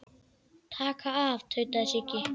Taka af. tautaði Siggi.